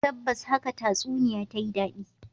Tabbas haka tatsuniyar ta yi dadi